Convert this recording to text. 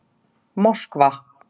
Moskva